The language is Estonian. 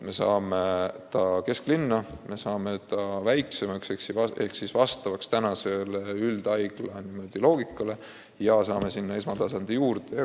Me saame haigla kesklinna, me saame väiksema ehk tänapäevase üldhaigla loogikale vastava asutuse ja saame sinna esmatasandi arstiabi juurde.